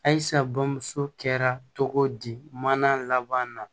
Ayisa bamuso kɛra cogo di mana laban na